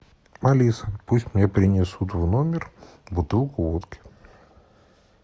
алиса пусть мне принесут в номер бутылку водки